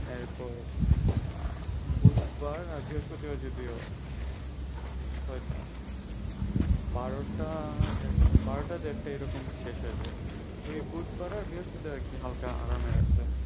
এরপর আহ বুধবার আর বৃহস্পতিবার যদিও ওইটা বারোটা বারোটা দেড়টাই এরকম শেষ হয়ে যায়, ওই বুধবারের বৃহস্পতিবারে কি হালকা আরামের আছে।